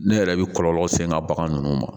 Ne yɛrɛ bɛ kɔlɔlɔ se n ka bagan ninnu ma